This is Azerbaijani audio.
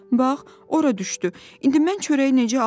Bax, ora düşdü, indi mən çörəyi necə alım?